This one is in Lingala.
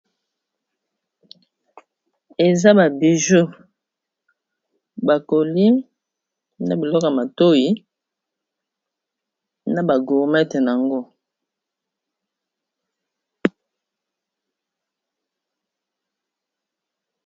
Eza babiju bakoli na biloko matoi na bagormete yango.